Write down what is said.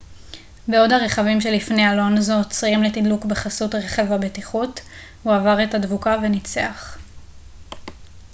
בעוד הרכבים שלפני אלונזו עוצרים לתדלוק בחסות רכב הבטיחות הוא עבר את הדבוקה וניצח